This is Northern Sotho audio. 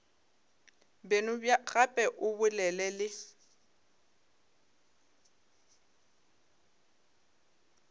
beno gape o bolele le